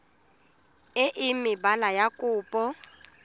e e maleba ya kopo